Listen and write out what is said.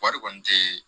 Wari kɔni tɛ